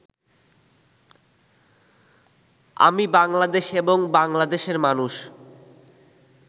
আমি বাংলাদেশ এবং বাংলাদেশের মানুষ